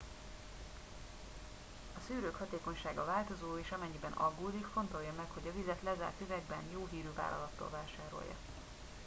a szűrők hatékonysága változó és amennyiben aggódik fontolja meg hogy a vizet lezárt üvegben jó hírű vállalattól vásárolja